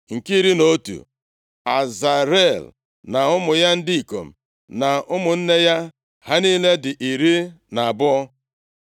Nke iri na otu, Azarel na ụmụ ya ndị ikom na ụmụnne ya. Ha niile dị iri na abụọ (12).